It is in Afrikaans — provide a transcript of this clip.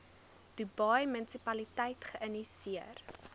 dubai munisipaliteit geïnisieer